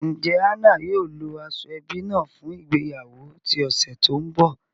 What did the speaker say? Njẹ Anna yóò lo ashoebi naa fun ìgbéyàwó ti ọsẹ to nbọ?